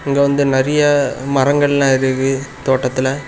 இங்க வந்து நறிய மரங்கள்லா இருக்கு தோட்டத்துல.